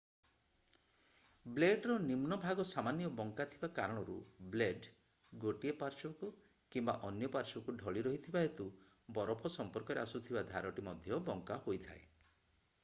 ବ୍ଲେଡ୍‌ର ନିମ୍ନ ଭାଗ ସାମାନ୍ୟ ବଙ୍କା ଥିବା କାରଣରୁ ବ୍ଲେଡ୍ ଗୋଟିଏ ପାର୍ଶ୍ୱକୁ କିମ୍ବା ଅନ୍ୟ ପାର୍ଶ୍ୱକୁ ଢଳି ରହିଥିବା ହେତୁ ବରଫ ସଂମ୍ପର୍କରେ ଆସୁଥିବା ଧାରଟି ମଧ୍ୟ ବଙ୍କା ହୋଇଥାଏ।